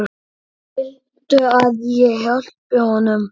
Viltu að ég hjálpi honum?